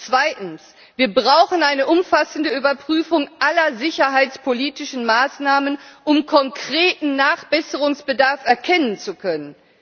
Zweitens Wir brauchen eine umfassende Überprüfung aller sicherheitspolitischen Maßnahmen, um konkreten Nachbesserungsbedarf erkennen zu können.